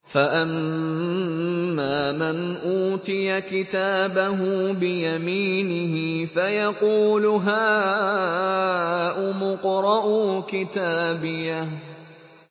فَأَمَّا مَنْ أُوتِيَ كِتَابَهُ بِيَمِينِهِ فَيَقُولُ هَاؤُمُ اقْرَءُوا كِتَابِيَهْ